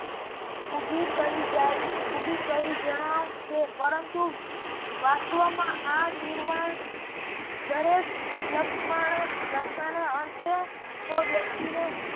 ઉભી કરી જણાય છે પરંતુ વસવામાં આ નિર્વાણ દરેક તો વ્યક્તિને